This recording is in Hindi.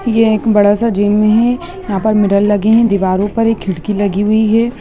ये एक बड़ा सा जिम है यहां पर मिरर लगे है दीवारों पर एक खिड़की लगी हुई है।